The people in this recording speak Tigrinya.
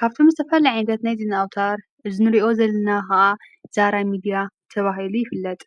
ካብቱም ዝተፈል ዕንተት ናይዝና ኣውታር ዝኑርኦ ዘልና ኸዓ ዛራ ሚድያ ተብሂሉ ይፍለጥ።